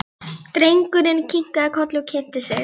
Drengurinn kinkaði kolli og kynnti sig.